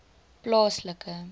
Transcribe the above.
plaaslike